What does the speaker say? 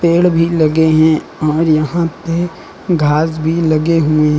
पेड़ भी लगे हैं और यहां पे घास भी लगे हुए--